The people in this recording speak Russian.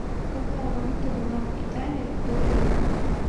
какая валюта была в италии до евро